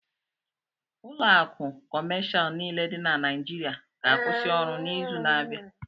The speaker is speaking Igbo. Ụlọ akụ kọmashal niile dị na Naịịjirịa ga-akwụsị ọrụ n'izu na abia.